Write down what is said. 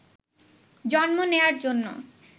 জন্ম নেয়ার জন্য